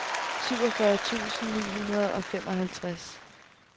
syvogfyrre tusind ni hundrede og femoghalvtreds